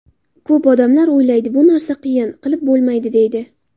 Ko‘p odamlar o‘ylaydi bu narsa qiyin, qilib bo‘lmaydi, deydi.